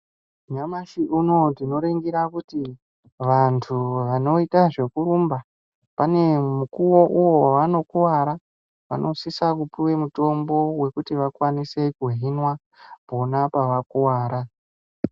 Nyamashi uno ndinoringira kuti vanthu vanoita zvekurumba pane mukuwo uwo wavanokuwara vanosisa kupuwe mutombo wekuti vakwanise kuhinwa pona pavakuwara.